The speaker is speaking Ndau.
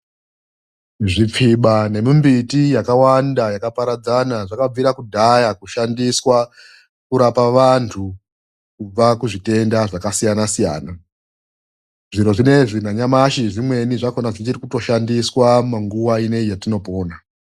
Zvipfiba nemumbiti yakawanda yakaparadzana zvakabvire kudhaya kushandiswe kurape vanthu kubve kuzvitenda zvakasiyana siyana . Zviro zvinezvi nanyamashi zvimweni zvakhina zvichiri kutoshandiswa munguwa iyi yatinopona.